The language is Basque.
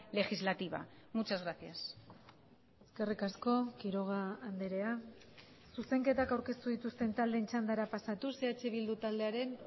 legislativa muchas gracias eskerrik asko quiroga andrea zuzenketak aurkeztu dituzten taldeen txandara pasatuz eh bildu taldearen